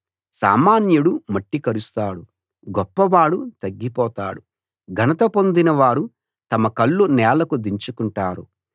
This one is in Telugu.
సామాన్యుడు మట్టి కరుస్తాడు గొప్పవాడు తగ్గిపోతాడు ఘనత పొందిన వారు తమ కళ్ళు నేలకు దించుకుంటారు